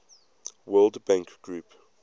world bank group